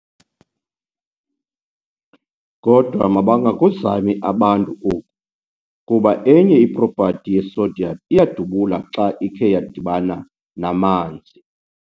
kKodwa mabangakuzami abantu oku, kuba enye i-property ye-sodium iyadubula xa ikhe yadibana namanzi.